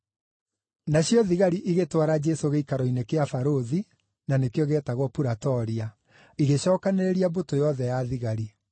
Nacio thigari igĩtwara Jesũ gĩikaro-inĩ kĩa barũthi (na nĩkĩo gĩetagwo Puratoria); igĩcookanĩrĩria mbũtũ yothe ya thigari.